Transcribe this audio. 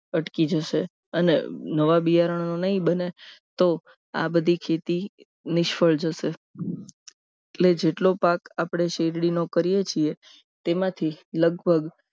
અટકી જશે અને નવા બિયારણો નહીં બને તો આ બધી ખેતી નિષ્ફળ જશે એટલે જેટલો પાક આપણે શેરડીનો કરીએ છીએ તેમાંથી લગભગ